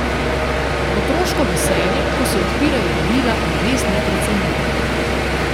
Otroško veselje, ko se odpirajo darila, je res neprecenljivo.